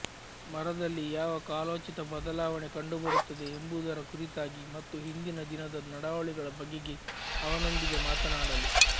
ಮರದಲ್ಲಿ ಯಾವ ಕಾಲೋಚಿತ ಬದಲಾವಣೆ ಕಂಡುಬರುತ್ತದೆ ಎಂಬುದರ ಕುರಿತಾಗಿ ಮತ್ತು ಹಿಂದಿನ ದಿನದ ನಡಾವಳಿಗಳ ಬಗೆಗೆ ಅವನೊಂದಿಗೆ ಮಾತನಾಡಲು